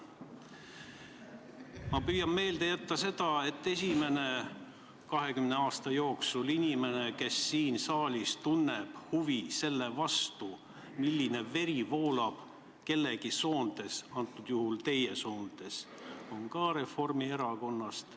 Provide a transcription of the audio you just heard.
Ma püüan meelde jätta seda, et esimene inimene, kes siin saalis 20 aasta jooksul on tundnud huvi selle vastu, milline veri voolab kellegi soontes – antud juhul teie soontes –, on ka Reformierakonnast.